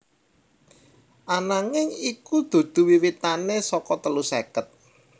Ananging iku dudu wiwitane saka telu seket